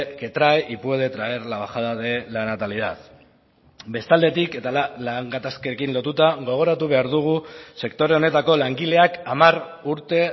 que trae y puede traer la bajada de la natalidad bestaldetik eta lan gatazkekin lotuta gogoratu behar dugu sektore honetako langileak hamar urte